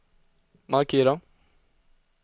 markera